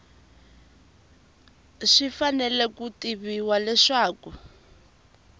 swi fanele ku tiviwa leswaku